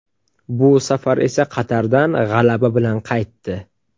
Bu safar esa Qatardan g‘alaba bilan qaytdi.